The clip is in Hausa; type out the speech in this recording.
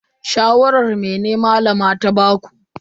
Shawaran mene Malama ta baku?